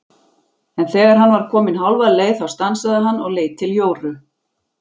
En þegar hann var kominn hálfa leið þá stansaði hann og leit til Jóru.